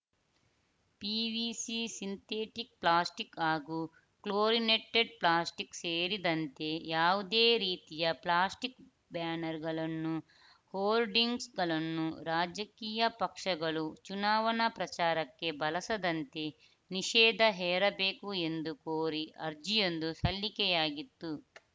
PVC synthetic plastic ಹಾಗೂ chlorinated plastic ಸೇರಿದಂತೆ ಯಾವುದೇ ರೀತಿಯ ಪ್ಲಾಸ್ಟಿಕ್‌ ಬ್ಯಾನರ್‌ಗಳನ್ನು ಹೋರ್ಡಿಂಗ್ಸ್‌ಗಳನ್ನು ರಾಜಕೀಯ ಪಕ್ಷಗಳು ಚುನಾವಣಾ ಪ್ರಚಾರಕ್ಕೆ ಬಳಸದಂತೆ ನಿಷೇಧ ಹೇರಬೇಕು ಎಂದು ಕೋರಿ ಅರ್ಜಿಯೊಂದು ಸಲ್ಲಿಕೆಯಾಗಿತ್ತು